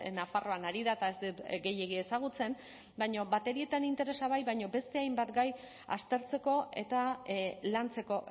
nafarroan ari da eta ez dut gehiegi ezagutzen baina batere interesa bai baina beste hainbat gai aztertzeko eta lantzeko